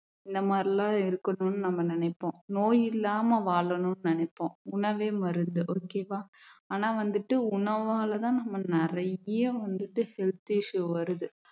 இந்த மாதிரி எல்லாம் இருக்கணும்னு நம்ம நினைப்போம் நோய் இல்லாம வாழணும்னு நினைப்போம் உணவே மருந்து okay வா ஆனா வந்துட்டு உணவால தான் நம்ம நிறைய வந்துட்டு health issue வருது